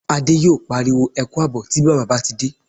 Adé yóò pariwo "Ẹ kú àbọ̀" tí bàbá bá ti dé